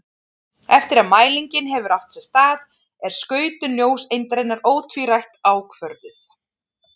Eftir að mælingin hefur átt sér stað er skautun ljóseindarinnar ótvírætt ákvörðuð.